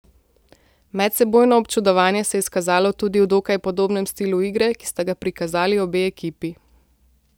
Medsebojno občudovanje se je izkazalo tudi v dokaj podobnem stilu igre, ki sta ga prikazali obe ekipi.